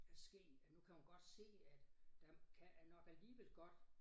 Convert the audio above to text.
At ske at nu kan hun godt se at der kan nok alligevel godt